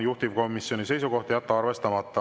Juhtivkomisjoni seisukoht on jätta arvestamata.